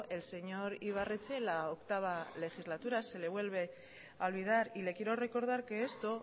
el señor ibarretxe la octavo legislatura se le vuelve a olvidar y le quiero recordar que esto